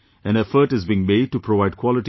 An effort is being made to provide quality education